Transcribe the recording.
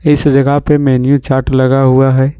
इस जगह पर मेनू चार्ट लगा हुआ है।